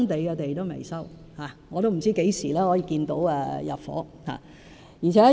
我也不知道何時可以看到入伙。